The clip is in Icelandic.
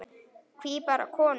Hví bara konur?